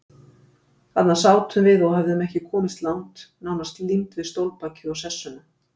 Þarna sátum við og höfðum ekki komist langt, nánast límd við stólbakið og sessuna.